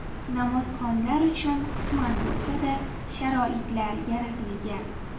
Namozxonlar uchun qisman bo‘lsa-da sharoitlar yaratilgan.